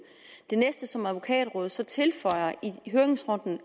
det næste som advokatrådet så tilføjer i høringsrunden